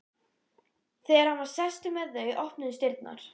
Þegar hann var sestur með þau opnuðust dyrnar.